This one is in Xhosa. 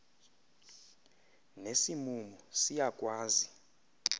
nesi mumu siyakwazi